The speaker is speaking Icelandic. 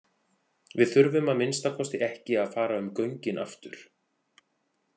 Við þurfum að minnsta kosti ekki að fara um göngin aftur.